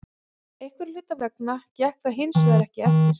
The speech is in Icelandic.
Einhverra hluta vegna gekk það hinsvegar ekki eftir.